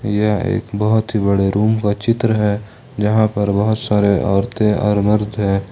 यह एक बहोत ही बड़े रूम का चित्र है जहां पर बहोत सारे औरतें और मर्द है।